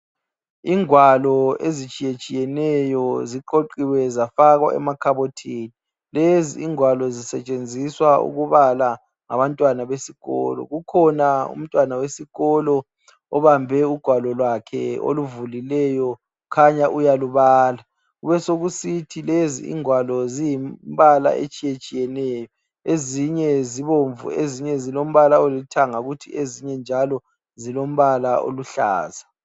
Ingwalo ezitshiyatshiyeneyo ziqoqiwe zafakwa emakhabothini lezi ingwalo zisetshenziswa ukubala ngabantwana besikolo kukhona umntwana wesikolo obambe ugwalo lakhe oluvulileyo khanya uyalubala, kube sokusithi lezi ingwalo ziyimbala etshiyetshiyeneyo ezinye zibomvu ezinye zilombala olithanga kuthi ezinye njalo zilombala oluhlaza.